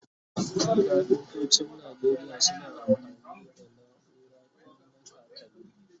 kafintocin Nigeria suna amfani da naura tun na kakanni